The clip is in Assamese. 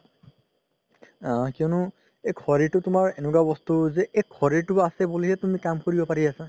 আ কিয়নো এই শৰিৰ তুমাৰ এনেকুৱা বস্তু যে শৰিৰতো আছে বুলি হে তুমি কাম কৰিব পাৰি আছা